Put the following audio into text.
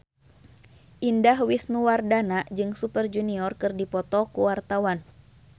Indah Wisnuwardana jeung Super Junior keur dipoto ku wartawan